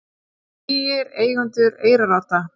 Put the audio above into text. Nýir eigendur Eyrarodda